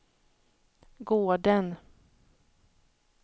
gården